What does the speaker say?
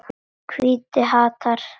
Hvítir hattar.